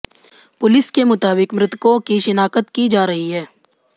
police के मुताबिक मृतकों की शिनाख्त की जा रही है